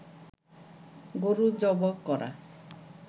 গরু জবো করা